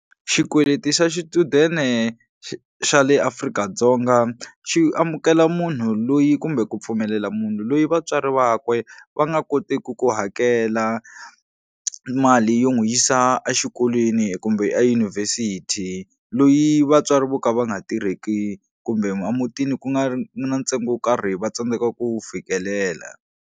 Xikweleti xa xichudeni xi xa le Afrika-Dzonga xi amukela munhu loyi kumbe ku pfumelela munhu loyi vatswari vakwe va nga koteki ku hakela mali yo n'wi yisa a xikolweni kumbe edyunivhesiti loyi vatswari vo ka va nga tirheki kumbe a emutini ku nga ri na ntsengo wo karhi va tsandzekaku ku wu fikelela.